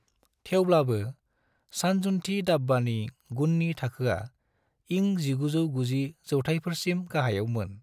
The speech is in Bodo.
थेवब्लाबो, सानजुनथि दाब्बानि गुननि थाखोया इं1990 ‍जौथाइफोरसिम गाहायाव मोन।